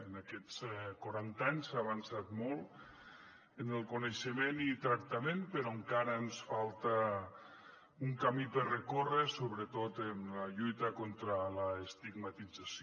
en aquests quaranta anys s’ha avançat molt en el coneixement i tractament però encara ens falta un camí per recórrer sobretot en la lluita contra l’estigmatització